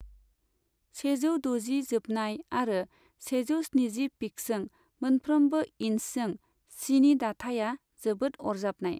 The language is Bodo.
सेजौ द'जि जोबनाय आरो सेजौ स्निजि पिक्सजों मोनफ्रोमबो इन्चजों सिनि दाथाया जोबोद अरजाबनाय।